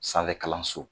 Sanfɛ kalanso